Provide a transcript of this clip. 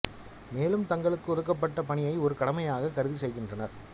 மேலும் தங்களுக்கு ஒதுக்கபட்ட பணியை ஒரு கடமையாக கருதி செய்கின்றனர்